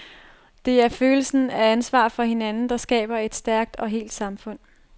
Det er følelsen af ansvar for hinanden, der skaber et stærkt og helt samfund.